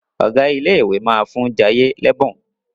Ọgá ilé ìwé má fún Jaiye l'ebun.